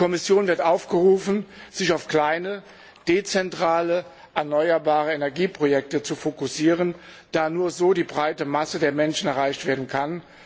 Die Kommission wird aufgerufen, sich auf kleine, dezentrale, erneuerbare Energieprojekte zu fokussieren, da nur so die breite Masse der Menschen erreicht werden kann.